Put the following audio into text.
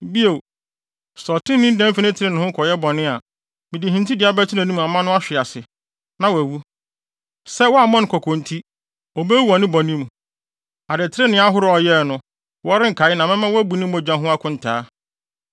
“Bio, sɛ ɔtreneeni dan fi trenee ho kɔyɛ bɔne a, mede hintidua bɛto nʼanim ama no ahwe ase, na wawu. Sɛ woammɔ no kɔkɔ nti, obewu wɔ ne bɔne mu. Adetrenee ahorow a ɔyɛe no, wɔrenkae na mɛma woabu ne mogya ho akontaa.